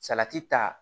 Salati ta